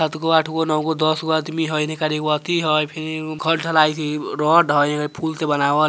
सात गो आठ गो नौ गो दस गो आदमी हई एक नार गो अथि हई फिर एगो घर ढलाई हई रॉड हई फूल से बनावल हई।